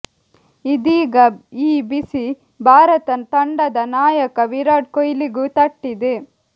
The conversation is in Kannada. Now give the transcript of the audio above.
ಇದೀಗ ಈ ಬಿಸಿ ಭಾರತ ತಂಡದ ನಾಯಕ ವಿರಾಟ್ ಕೊಹ್ಲಿಗೂ ತಟ್ಟಿದೆ